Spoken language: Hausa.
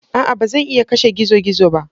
A'a! Ba zan iya kashe gizo-gizo ba.